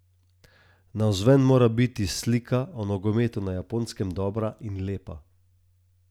Navzven mora biti slika o nogometu na Japonskem dobra in lepa.